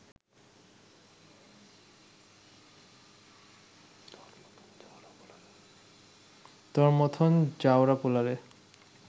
তর মথন জাউরা পোলারে